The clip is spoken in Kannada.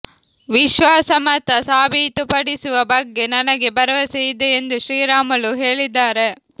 ವಿಶ್ವಾಸಮತ ಸಾಬೀಪಡಿಸುವ ಬಗ್ಗೆ ನನಗೆ ಭರವಸೆ ಇದೆ ಎಂದು ಶ್ರೀರಾಮುಲು ಹೇಳಿದ್ದಾರೆ